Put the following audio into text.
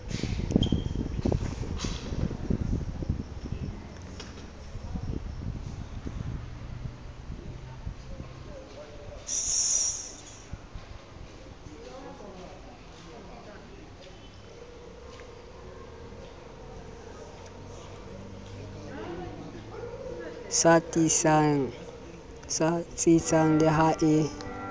sa tsitsang le ha e